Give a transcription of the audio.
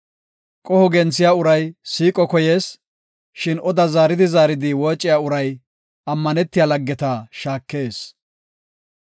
Qoho genthiya uray siiqo koyees; shin oda zaaridi zaaridi woociya uray, ammanetiya laggeta shaakees.